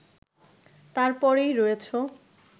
তারপরেই রয়েছ